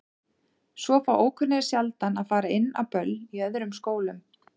Svo fá ókunnugir sjaldan að fara inn á böll í öðrum skólum.